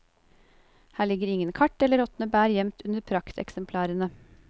Her ligger ingen kart eller råtne bær gjemt under prakteksemplarene.